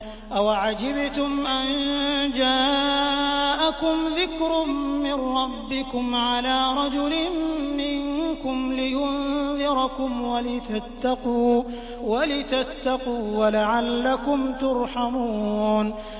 أَوَعَجِبْتُمْ أَن جَاءَكُمْ ذِكْرٌ مِّن رَّبِّكُمْ عَلَىٰ رَجُلٍ مِّنكُمْ لِيُنذِرَكُمْ وَلِتَتَّقُوا وَلَعَلَّكُمْ تُرْحَمُونَ